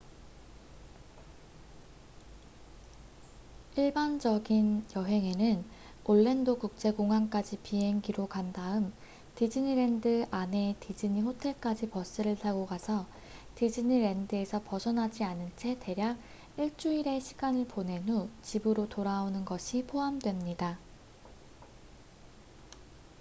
"""일반적인" 여행에는 올랜도 국제공항까지 비행기로 간 다음 디즈니랜드 안의 디즈니 호텔까지 버스를 타고 가서 디즈니랜드에서 벗어나지 않은 채 대략 일주일의 시간을 보낸 후 집으로 돌아오는 것이 포함됩니다.